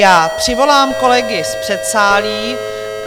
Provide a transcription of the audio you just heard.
Já přivolám kolegy z předsálí.